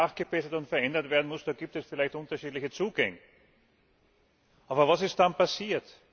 Wie nachgebessert und verändert werden muss, da gibt es vielleicht unterschiedliche Zugänge. Aber was ist dann passiert?